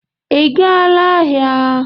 Ị gaala aha?